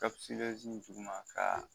duguma ka